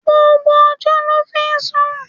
Gbogbo ọjọ́ ló fi ń sùn.